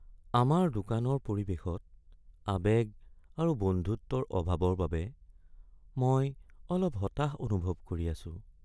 আমাৰ দোকানৰ পৰিৱেশত আৱেগ আৰু বন্ধুত্বৰ অভাৱৰ বাবে মই অলপ হতাশ অনুভৱ কৰি আছোঁ।